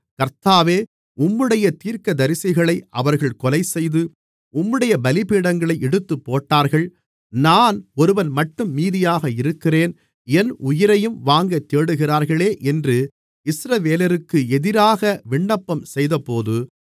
கர்த்தாவே உம்முடைய தீர்க்கதரிசிகளை அவர்கள் கொலைசெய்து உம்முடைய பலிபீடங்களை இடித்துப்போட்டார்கள் நான் ஒருவன்மட்டும் மீதியாக இருக்கிறேன் என் உயிரையும் வாங்கத் தேடுகிறார்களே என்று இஸ்ரவேலருக்கு எதிராக விண்ணப்பம் செய்தபோது